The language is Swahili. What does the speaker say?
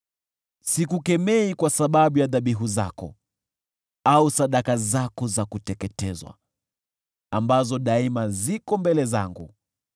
Sikukemei kwa sababu ya dhabihu zako, au sadaka zako za kuteketezwa, ambazo daima ziko mbele zangu.